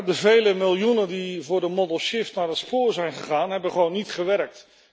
De vele miljoenen die voor de modal shift naar het spoor zijn gegaan hebben gewoon niet gewerkt.